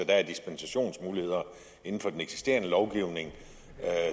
der er dispensationsmuligheder inden for den eksisterende lovgivning